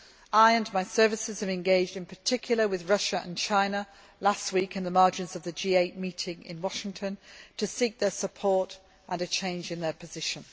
I and my services have engaged in particular with Russia and China last week on the margins of the G8 meeting in Washington to seek their support and a change in their position.